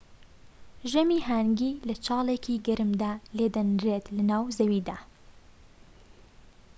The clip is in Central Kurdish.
ژەمی هانگی لە چاڵێکی گەرمدا لێدەنرێت لەناو زەویدا